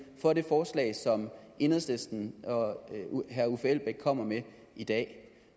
for det forslag som enhedslisten og herre uffe elbæk kommer med i dag